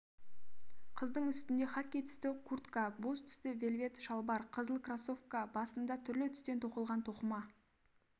қыздың үстінде хакки түсті куртка боз түсті вельвет шалбар қызыл кроссовка басында түрлі түстен тоқылған тоқыма